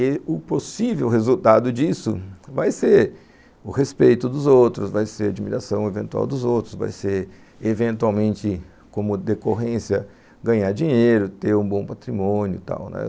E o possível resultado disso vai ser o respeito dos outros, vai ser a admiração eventual dos outros, vai ser, eventualmente, como decorrência, ganhar dinheiro, ter um bom patrimônio e tal, né.